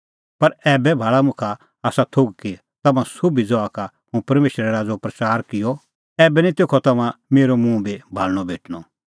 पर ऐबै भाल़ा मुखा आसा थोघ कि तम्हां सोभी ज़हा का हुंह परमेशरे राज़ो प्रच़ार किअ ऐबै निं तेखअ तम्हां मेरअ मुंह भी भाल़णअ भेटणअ